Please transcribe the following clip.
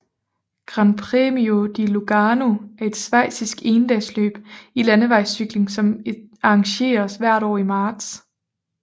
Gran Premio di Lugano er et schweizisk endagsløb i landevejscykling som arrangeres hvert år i marts